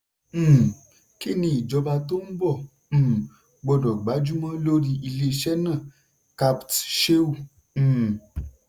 um "kí ni ìjọba tó ń bọ̀ um gbọ́dọ̀ gbájúmọ́ lórí iléeṣẹ́ náà capt. sheu?" um